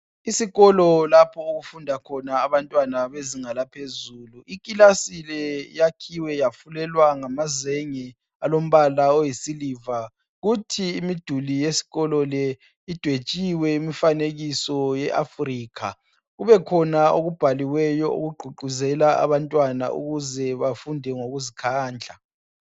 esikolo lapho okufundwa khona abantwna bezinga eliphezulu ikilasi le iyakhiwe yafulelwa ngamazenge alompala olisiliva futhi imduli yesikololesi idwetshiwe imfanekiso e Africa kubekhona okubhaliweyo ukuthi khona akubhaliweyo okuqhuquzela abantwana ukuze bafunde ngokuzikhandla